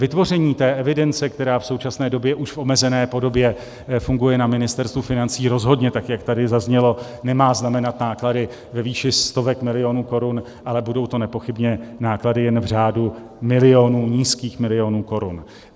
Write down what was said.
Vytvoření té evidence, která v současné době už v omezené podobě funguje na Ministerstvu financí, rozhodně, tak jak tady zaznělo, nemá znamenat náklady ve výši stovek milionů korun, ale budou to nepochybně náklady jen v řádu milionů, nízkých milionů korun.